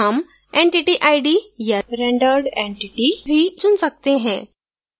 हम entity id या rendered entity भी चुन सकते हैं